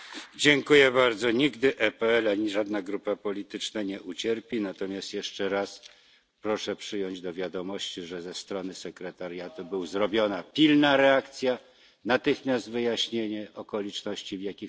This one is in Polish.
Nigdy PPE ani żadna grupa polityczna nie ucierpi, natomiast jeszcze raz proszę przyjąć do wiadomości, że ze strony sekretariatu była pilna reakcja, natychmiast wyjaśniono okoliczności, w jakich to się zdarzyło.